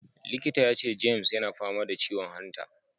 Likita ya ce James yana fama da ciwon hanta.